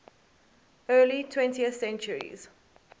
early twentieth centuries